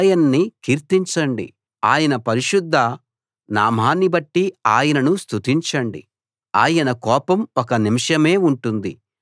యెహోవా భక్తులారా ఆయన్ని కీర్తించండి ఆయన పరిశుద్ధ నామాన్ని బట్టి ఆయనను స్తుతించండి